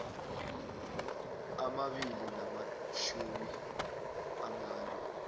amabili namatjhumi amane